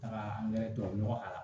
Taga an yɛrɛ tɔɔrɔ a la